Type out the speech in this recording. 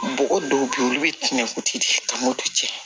Bɔgɔ dɔw bɛ yen olu bɛ tiɲɛ kuti de kama o cɛ